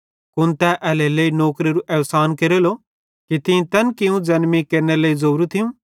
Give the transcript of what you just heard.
कुन तै एल्हेरेलेइ नौकरेरू अहसान केरेलो कि तीं तैन कियूं ज़ैन तीं केरनेरे लेइ ज़ोवरू थियूं